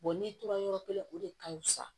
n'i tora yɔrɔ kelen o de ka fisa